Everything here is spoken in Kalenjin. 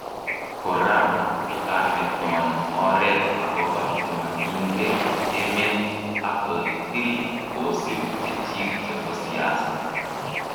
Kora kokameton oret agopa chemakinge emet ak kotil kosip chechik chepo siasa.